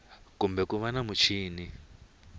kumbe ku va na muchini